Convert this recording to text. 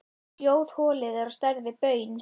Hljóðholið er á stærð við baun.